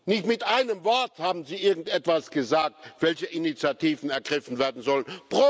Nicht mit einem Wort haben Sie irgendetwas gesagt, welche Initiativen ergriffen werden sollten.